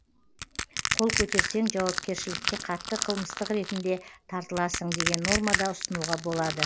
қол көтерсең жауапкершілікке қатты қылмыстық ретінде тартыласың деген нормада ұсынуға болады